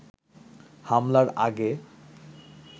হামলার আগে